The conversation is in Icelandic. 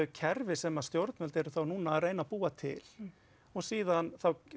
kerfi sem stjórnvöld eru þá núna að reyna búa til og síðan